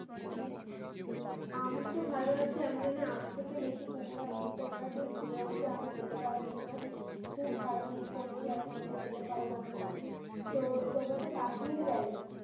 আমি তো ভালো আছি। আমি জানি আমার থেকে বেশি তোমরা তোমরা যেয়ে ঘুরে আসলে। আমি যেতে পারিনি গো। খুব খারাপ miss করছি এখন, যে যেতে পারলাম না। তো তোমরা তো কাশ্মীর গেলে।